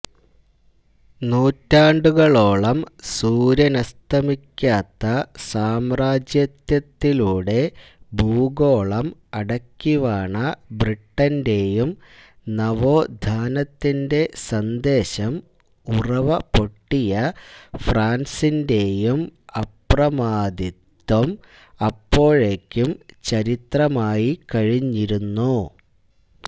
നൂറ്റാണ്ടുകളോളം സൂര്യനസ്തമിക്കാത്ത സാമ്രാജ്യത്തത്തിലൂടെ ഭൂഗോളം അടക്കിവാണ ബ്രിട്ടന്റെയും നവോഥാനത്തിന്റെ സന്ദേശം ഉറവപൊട്ടിയ ഫ്രാന്സിന്റെയും അപ്രമാദിത്വം അപ്പോഴേക്കും ചരിത്രമായിക്കഴിഞ്ഞിരുന്നു